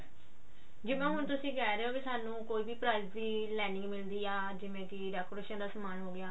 ਜਿਵੇਂ ਹੁਣ ਤੁਸੀਂ ਕਿਹ ਰਹੇ ਹੋ ਸਾਨੂੰ ਕੋਈ ਵੀ price ਦੀ lining ਮਿਲਦੀ ਆ ਜਿਵੇਂ decoration ਦਾ ਸਮਾਨ ਹੋਗਿਆ